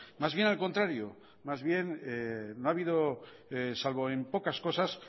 más bien al contrario más bien no ha habido salvo en pocas cosas